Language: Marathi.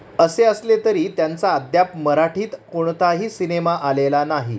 असे, असले तरी त्यांचा अद्याप मराठीत कोणताही सिनेमा आलेला नाही.